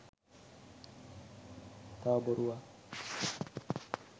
තව බොරුවක්.